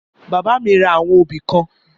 Bàbá mi ra àwọn obì kan